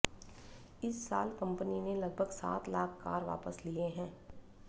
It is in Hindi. इस साल कंपनी ने लगभग सात लाख कार वापस लिये हैं